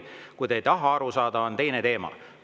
Kui te ei taha aru saada, on teine teema.